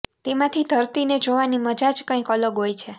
તેમાંથી ધરતી ને જોવાની મજા જ કંઈક અલગ હોય છે